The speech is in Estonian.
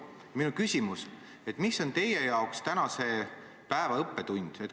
Minu küsimus on järgmine: mis on teie jaoks tänase päeva õppetund?